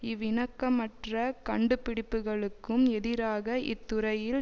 இவ் இணக்கமற்ற கண்டுபிடிப்புக்ளுக்கும் எதிராக இத்துறையில்